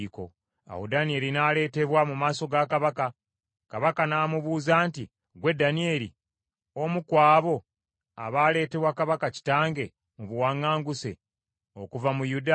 Awo Danyeri n’aleetebwa mu maaso ga kabaka, kabaka n’amubuuza nti, “Ggwe Danyeri, omu ku abo abaaleetebwa kabaka kitange mu buwaŋŋanguse okuva mu Yuda?